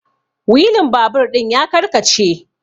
wilin babur ɗin ya karkace